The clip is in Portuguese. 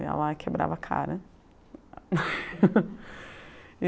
Eu ia lá e quebrava a cara.